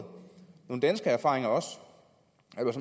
danske erfaringer